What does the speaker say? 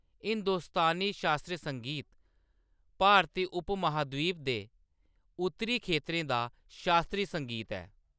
हिंदुस्तानी शास्त्रीय संगीत भारती उपमहाद्वीप दे उत्तरी खेतरें दा शास्त्रीय संगीत ऐ।